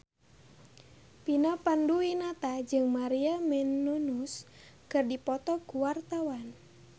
Vina Panduwinata jeung Maria Menounos keur dipoto ku wartawan